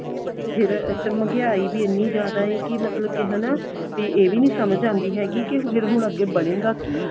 ਫਿਰ ਅੱਛਾ ਮਹਿੰਗਈ ਵੀ ਇੰਨੀ ਜ਼ਿਆਦਾ ਏ ਕੀ ਮਤਲਬ ਕੀ ਹਣਾ ਤੇ ਇਹ ਵੀ ਨੀ ਸਮਝ ਆਉਂਦੀ ਹੈਗੀ ਕੀ ਫਿਰ ਹੁਣ ਅੱਗੇ ਬਣੇਗਾ ਕੀ